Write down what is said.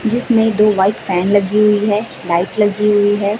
जिसमें दो white fan लगी हुई है लाइट लगी हुई है।